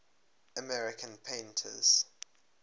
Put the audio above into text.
american painters